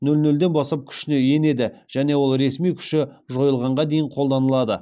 нөл нөлден бастап күшіне енеді және ол ресми күші жойылғанға дейін қолданылады